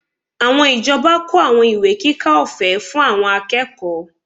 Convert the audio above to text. Àwọn ìjọba kó àwọn ìwé kíkà ọ̀fẹ́ fún àwọn akẹ́kọ̀ọ́